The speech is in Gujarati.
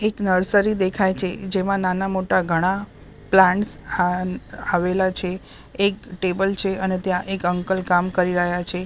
એક નર્સરી દેખાય છે જેમાં નાના-મોટા ઘણા પ્લાન્ટસ આ આવેલા છે એક ટેબલ છે અને ત્યાં એક અંકલ કામ કરી રહ્યા છે.